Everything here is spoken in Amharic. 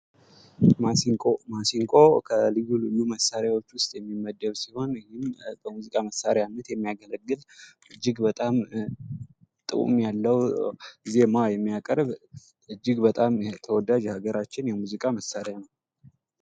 ማሲንቆ ከልዩ ልዩ መሳሪያዎች ውስጥ የሚመደብ ሲሆን ይህን በሙዚቃ መሳሪያነት የሚያገለግል እጅግ በጣም ጣእም ያለው ዜማ የሚያቀርብ እጅግ በጣም ተወዳጅ ሃገራችን መሳሪያ ነው።